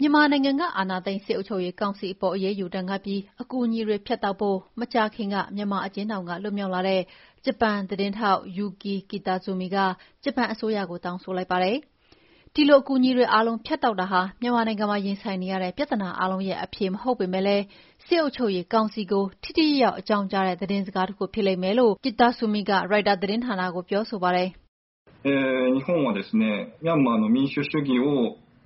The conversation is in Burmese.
မြန်မာနိုင်ငံက အာဏာသိမ်း စစ်အုပ်ချုပ်ရေးကောင်စီအပေါ် အရေးယူ ဒဏ်ခတ်ပြီး အကူအညီတွေ ဖြတ်တောက်ဖို့ မကြာခင်က မြန်မာ အကျဉ်းထောင်က လွတ်မြောက်လာတဲ့ ဂျပန် သတင်းထောက် Yuki Kitazumi က ဂျပန်အစိုးရကို တောင်းဆိုလိုက်ပါတယ်။ ဒီလို အကူညီ တွေ အားလုံး ဖြတ်တောက်တာဟာ မြန်မာနိုင်ငံမှာရင်ဆိုင်နေရတဲ့ ပြဿနာအားလုံးရဲ့ အဖြေမဟုတ်ပေမဲ့လည်း စစ်အုပ်ချုပ်ရေး ကောင်စီကို ထိထိရောက်ရောက် အကြောင်းကြားတဲ့ သတင်းစကားတခု ဖြစ်လိမ့်မယ်လို့ Yuki Kitazumi က ရိုက်တာသတင်းဌာနကို ပြောဆိုပါတယ်။